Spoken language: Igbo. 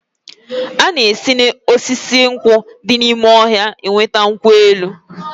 A na-esi na osisi nkwụ di n'ime ọhịa enweta nkwụ elụ.